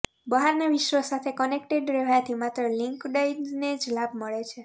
બહારના વિશ્વ સાથે કનેક્ટેડ રહેવાથી માત્ર લિંક્ડઇનને જ લાભ મળે છે